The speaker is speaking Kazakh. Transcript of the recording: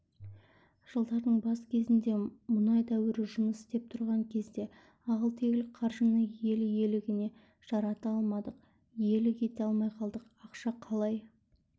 жылдардың бас кезінде мұнай дәуірі жұмыс істеп тұрған кезде ағыл-тегіл қаржыны ел игілігіне жарата алмадық иелік ете алмай қалдық ақша қалай